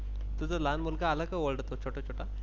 तुझ लहान मुलगा आल का छोटा छोटा?